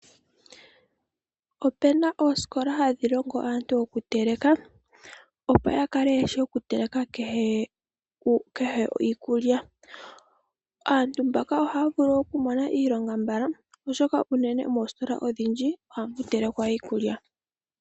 Opena oosikola hadhi longo aantu okuteleka, opo ya kale yeshi oku teleka kehe iikulya. Aantu mbaka ohaya vulu okumona iilonga mbala , oshoka unene moositola odhindji ohamu telekwa Iikulya.